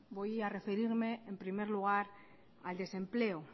voy a referirme en primer lugar al desempleo